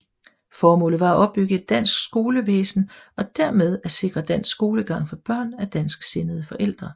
Formålet var at opbygge et dansk skolevæsen og dermed at sikre dansk skolegang for børn af dansksindede forældre